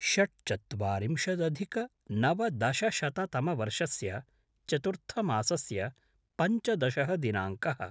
षट्चत्वारिंशदधिकनवदशशततमवर्षस्य चतुर्थमासस्य पञ्चदशः दिनाङ्कः